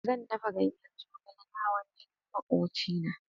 Zan dafa ganyen zogale na hawan jinin makwachina.